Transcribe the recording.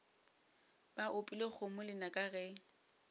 ba opile kgomo lenaka ge